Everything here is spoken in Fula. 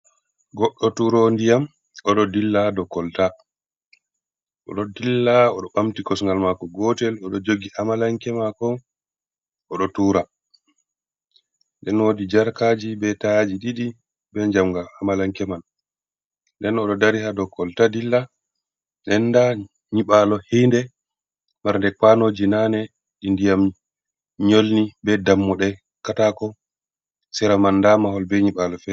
Goɗɗo turowo nɗiyam. oɗo ɗilla haɗou kolta oɗo ɗilla oɗo ɓamti kosogal mako gotel oɗo jogi amalanke mako oɗo tura ɗenɓo woɗi jarkaji ɓe tayaji ɗiɗi ɓe jamgal amalanke man nɗen oɗo ɗari ha ɗo kolta ɗilla ɗenɗa nyiɓalo hiinɗe marɗe kuwanoji nane ɗi ndiyam nyolni ɓe ɗammuɗe katako sera man ɗa mahol ɓe nyiɓalo fe.